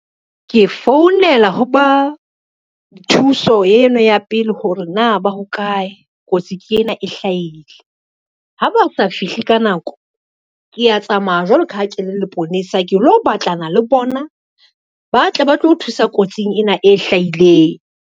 Ke founela ho ba thuso eno ya pele hore na ba ho kae, kotsi ke ena e hlahile. Ha ba sa fihle ka nako, kea tsamaya jwalo ka ha ke le leponesa ke lo batlana le bona, ba tle ba tlo thusa kotsing ena e hlahileng.